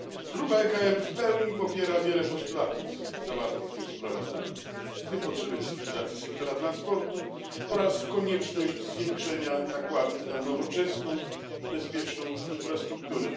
Grupa ECR w pełni popiera wiele postulatów zawartych w tym sprawozdaniu, w tym potrzebę cyfryzacji sektora transportu oraz konieczność zwiększenia nakładów na nowoczesną i bezpieczną infrastrukturę.